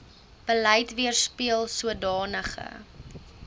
beleid weerspieel sodanige